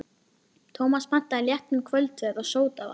Tómas pantaði léttan kvöldverð og sódavatn.